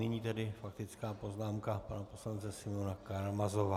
Nyní tedy faktická poznámka pana poslance Simeona Karamazova.